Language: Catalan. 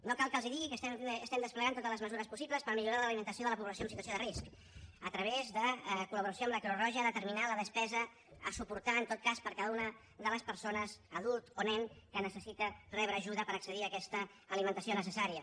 no cal que els digui que estem desplegant totes les mesures possibles per millorar l’alimentació de la població en situació de risc a través de col·laboració amb la creu roja determinant la despesa a suportar en tot cas per cada una de les persones adult o nen que necessita rebre ajuda per accedir a aquesta alimentació necessària